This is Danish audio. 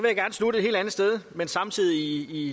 i